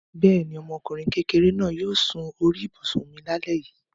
Bẹ́ẹ̀ ni, ọmọkùnrin kékeré náà yóò sun orí ibùsùn mi lálẹ́ yìí.